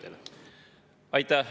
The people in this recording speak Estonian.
Aitäh!